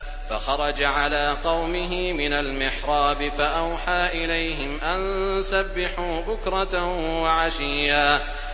فَخَرَجَ عَلَىٰ قَوْمِهِ مِنَ الْمِحْرَابِ فَأَوْحَىٰ إِلَيْهِمْ أَن سَبِّحُوا بُكْرَةً وَعَشِيًّا